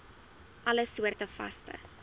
alle soorte vaste